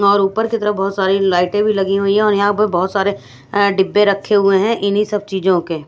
और ऊपर की तरफ बहोत सारी लाइटें भी लगी हुई है और यहां पर बहोत सारे अह डिब्बे रखे हुए हैं इन्हीं सब चीजों के।